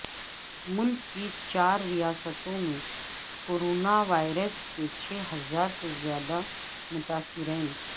ملک کی چارریاستوں میں کورونا وائرس کے چھ ہزار سے زیادہ متاثرین